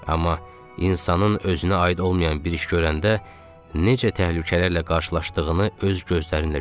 Amma insanın özünə aid olmayan bir iş görəndə necə təhlükələrlə qarşılaşdığını öz gözlərinlə gördün.